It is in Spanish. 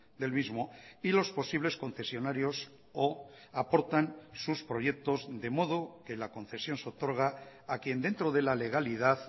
del mismo y los posibles concesionarios o aportan sus proyectos de modo que la concesión seotorga a quien dentro de la legalidad